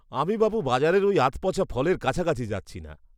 আমি বাপু বাজারের ওই আধপচা ফলের কাছাকাছি যাচ্ছি না।